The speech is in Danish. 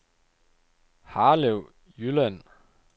Harlev Jylland